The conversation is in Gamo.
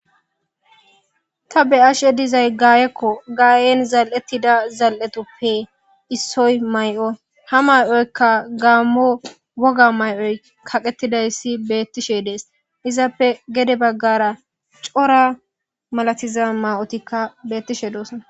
Ta be'ashe dizay gaayako gaayen zal'etida zal'etuppe issoy may'o ha may'oyka gammo woga may'oy kaqetidaysi beetishe de'es izappe gede bagaara cora malatiza ma'otika beetishe doosonna.